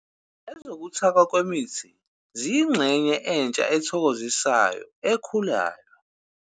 Ezokuthakwa kwemithi ziyingxenye entsha ethokozisayo ekhulayo.